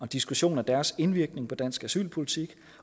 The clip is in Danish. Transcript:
diskussion af deres indvirkning på dansk asylpolitik